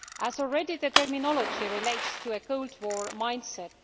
Already the terminology relates to a cold war mindset.